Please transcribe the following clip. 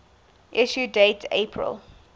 issue date april